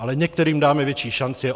Ale některým dáme větší šance.